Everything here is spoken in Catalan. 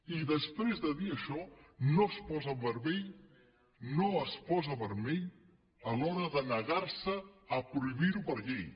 i després de dir això no es posa vermell no es posa vermell a l’hora de negar se a prohibir ho per llei